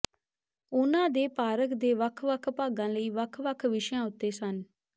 ਉਹਨਾਂ ਦੇ ਪਾਰਕ ਦੇ ਵੱਖ ਵੱਖ ਭਾਗਾਂ ਲਈ ਵੱਖ ਵੱਖ ਵਿਸ਼ਿਆਂ ਉੱਤੇ ਸਨ